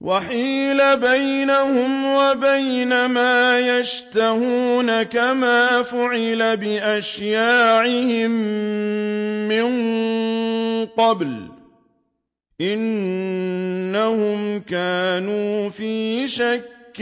وَحِيلَ بَيْنَهُمْ وَبَيْنَ مَا يَشْتَهُونَ كَمَا فُعِلَ بِأَشْيَاعِهِم مِّن قَبْلُ ۚ إِنَّهُمْ كَانُوا فِي شَكٍّ